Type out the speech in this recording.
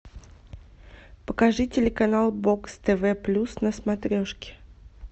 покажи телеканал бокс тв плюс на смотрешке